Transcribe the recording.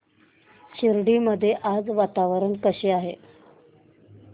शिर्डी मध्ये आज वातावरण कसे आहे